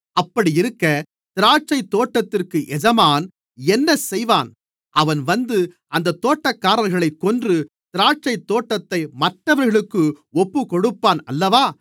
அப்படியிருக்க திராட்சைத்தோட்டத்திற்கு எஜமான் என்ன செய்வான் அவன் வந்து அந்தத் தோட்டக்காரர்களைக் கொன்று திராட்சைத்தோட்டத்தை மற்றவர்களுக்கு ஒப்புக்கொடுப்பான் அல்லவா